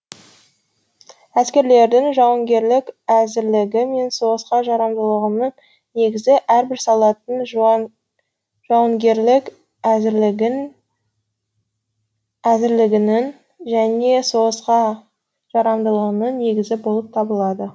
әскерлердің жауынгерлік әзірлігі мен соғысқа жарамдылығының негізі әрбір солдаттың жауынгерлік әзірлігінің және соғысқа жарамдылығының негізі болып табылады